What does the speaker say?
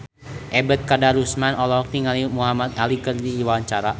Ebet Kadarusman olohok ningali Muhamad Ali keur diwawancara